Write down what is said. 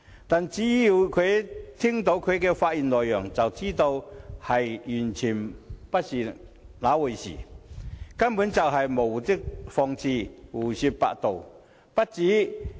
可是，聽罷他的發言內容，便知道完全不是那回事，他根本是在無的放矢，胡說八道。